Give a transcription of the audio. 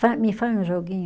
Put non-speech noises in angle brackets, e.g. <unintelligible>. <unintelligible> me faz um joguinho?